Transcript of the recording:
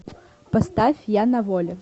поставь я на воле